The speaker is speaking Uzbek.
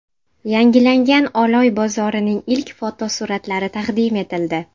Yangilangan Oloy bozorining ilk fotosuratlari taqdim etildi.